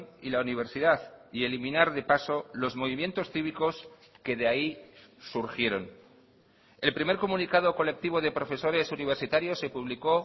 y la universidad y eliminar de paso los movimientos cívicos que de ahí surgieron el primer comunicado colectivo de profesores universitarios se publicó